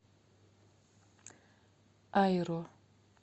айро